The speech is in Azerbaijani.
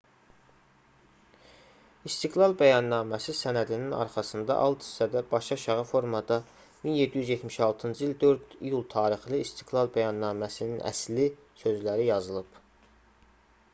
i̇stiqlal bəyənnaməsi sənədinin arxasında alt hissədə başı aşağı formada 1776-cı il 4 iyul tarixli i̇stiqlal bəyannaməsinin əsli sözləri yazılıb